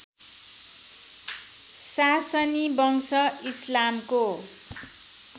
सासनी वंश इस्लामको